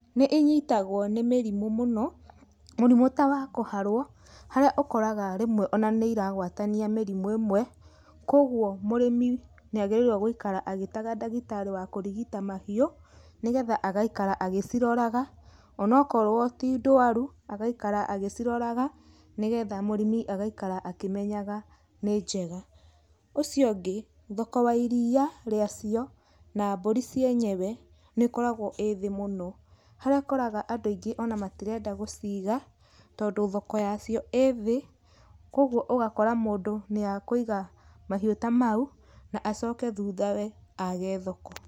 Nĩ inyitagwo nĩ mĩrimũ mũno, mũrimũ ta wa kũharwo harĩa ũkoraga rĩmwe ona nĩ iragwatania mĩrimũ ĩmwe, kwogwo mũrĩmi nĩ agĩrĩirwo gũikara agĩtaga ndagĩtarĩ wa kũrigita mahiũ, nĩgetha agaikara agĩciroraga, onokorwo ti ndũaru, agaikara agĩciroraga nĩgetha mũrĩmi agaikara akĩmenyaga nĩ njega. Ũcio ũngĩ, thoko wa iria rĩacio na mbũri cienyewe, nĩkoragwo ĩ thĩ mũno, harĩa ũkoraga andũ aingĩ ona matirenda gũciga tondũ thoko yacio ĩ thĩ, kwogwo ũgakora mũndũ nĩakũiga mahiũ ta mau, na acoke thuthawe age thoko.